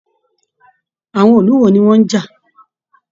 Àwọn ìlú wò ní wọn n já?